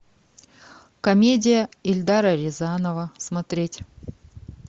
комедия эльдара рязанова смотреть